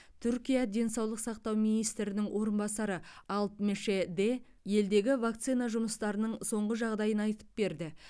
түркия денсаулық сақтау министрінің орынбасары алп меше де елдегі вакцина жұмыстарының соңғы жағдайын айтып берді